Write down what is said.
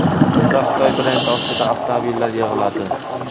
Unda Xitoy brendi ostida avtomobillar yig‘iladi.